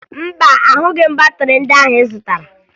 Mba, ahụghị m batịrị ndị ahụ ị zụtara